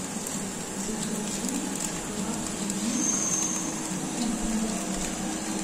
закажи шоколадку милка со вкусом фундука